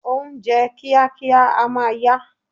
Ohunjẹ́ kíákíá a máa ya